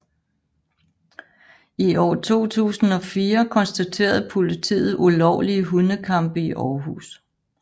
I år 2004 konstaterede politiet ulovlige hundekampe i Århus